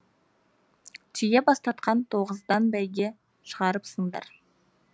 түйе бастатқан тоғыздан бәйге шығарыпсыңдар